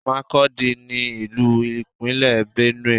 Makurdi ni Olú-Ìpínlẹ̀ Benue.